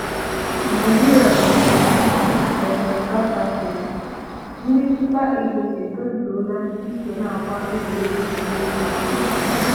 Nigeria vs vs South Africa: Ndị Super Eagles etozugo iso n'agba egwuregwu Iko mba Afrịka.